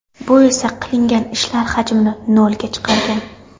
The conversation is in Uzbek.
Bu esa qilingan ishlar hajmini ‘nol’ga chiqargan.